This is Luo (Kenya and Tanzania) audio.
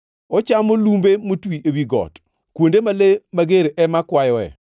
Ochamo lumbe motwi ewi got, kuonde ma le mager ema kwayoe.